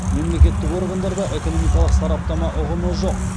мемлекеттік органдарда экономикалық сараптама ұғымы жоқ